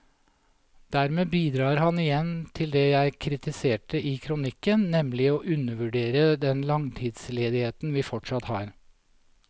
Dermed bidrar han igjen til det jeg kritiserte i kronikken, nemlig å undervurdere den langtidsledigheten vi fortsatt har.